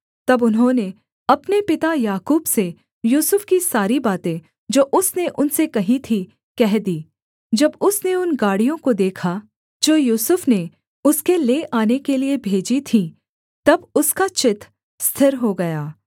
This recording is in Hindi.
तब उन्होंने अपने पिता याकूब से यूसुफ की सारी बातें जो उसने उनसे कहीं थीं कह दीं जब उसने उन गाड़ियों को देखा जो यूसुफ ने उसके ले आने के लिये भेजी थीं तब उसका चित्त स्थिर हो गया